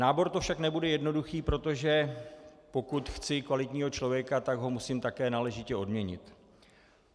Nábor to však nebude jednoduchý, protože pokud chci kvalitního člověka, tak ho musím také náležitě odměnit.